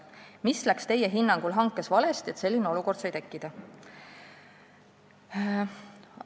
Mis läks teie hinnangul hankes valesti, et selline olukord sai tekkida?